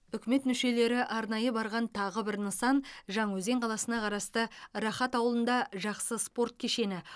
үкімет мүшелері арнайы барған тағы бір нысан жаңаөзен қаласына қарасты рахат ауылында жақсы спорт кешені